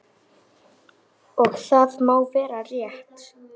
Og það má vera rétt.